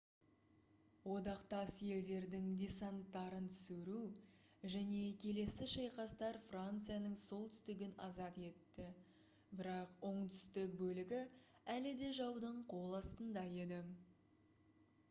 одақтас елдердің десанттарын түсіру және келесі шайқастар францияның солтүстігін азат етті бірақ оңтүстік бөлігі әлі де жаудың қол астында еді